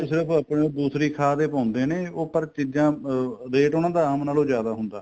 ਸਿਰਫ ਆਪਣਾ ਦੂਸਰੀ ਖਾਦ ਈ ਪਾਉਂਦੇ ਨੇ ਉਹ ਪਰ ਚੀਜ਼ਾਂ ਅਹ weight ਉਹਨਾ ਦਾ ਆਮ ਨਾਲੋ ਜਿਆਦਾ ਹੁੰਦਾ